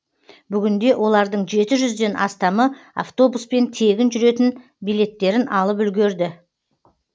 бүгінде олардың жеті жүзден астамы автобуспен тегін жүретін билеттерін алып үлгерді